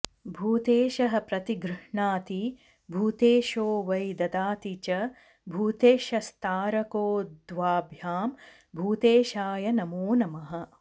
भूतेशः प्रतिगृह्णाति भूतेशो वै ददाति च भूतेशस्तारको द्वाभ्यां भूतेशाय नमो नमः